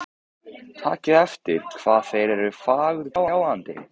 Takið eftir hvað þeir eru fagurgljáandi.